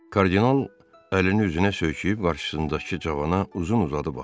Kardinal əlini üzünə söykəyib qarşısındakı cavana uzun-uzadı baxdı.